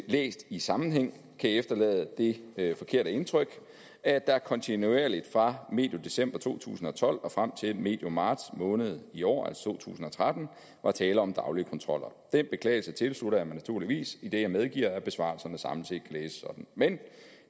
læst i sammenhæng kan efterlade det forkerte indtryk at der kontinuerligt fra medio december to tusind og tolv og frem til medio marts måned i år altså to tusind og tretten var tale om daglige kontroller den beklagelse tilslutter jeg mig naturligvis idet jeg medgiver at besvarelserne samlet set kan læses sådan men